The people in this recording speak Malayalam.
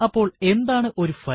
അപ്പോൾ എന്താണ് ഒരു ഫയൽ